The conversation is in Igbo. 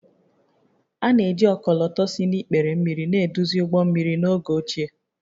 A na-eji ọkọlọtọ si n’ikpere mmiri na-eduzi ụgbọ mmiri n’oge ochie